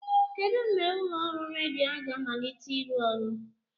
Kedụ mgbe ụlọ ọrụ redio a ga-amalite ịrụ ọrụ?